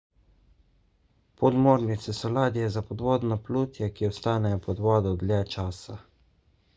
podmornice so ladje za podvodno plutje ki ostanejo pod vodo dlje časa